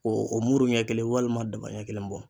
O muru ɲɛ kelen walima daba ɲɛ kelen bɔ.